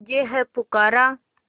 तुझे है पुकारा